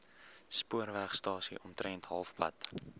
spoorwegstasie omtrent halfpad